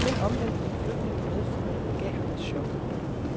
Den omvæltning, flytningen medførte, gav ham et chok.